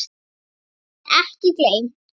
Geymt en ekki gleymt!